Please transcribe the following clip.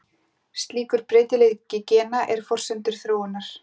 Slíkur breytileiki gena er forsenda þróunar.